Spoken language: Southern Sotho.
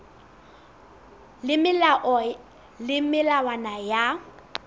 le melao le melawana ya